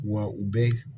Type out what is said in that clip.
Wa u bɛ